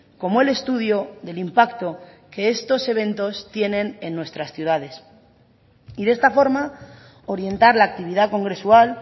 como el estudio del impacto que estos eventos tienen en nuestras ciudades y de esta forma orientar la actividad congresual